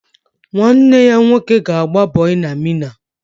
Nwanne ya nwoke ga-agba bọị na Mịna